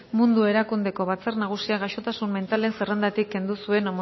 mundu erakundeko batzar nagusiak gaixotasun mentalen zerrendatik kendu zuen